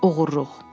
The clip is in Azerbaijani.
Oğurluq.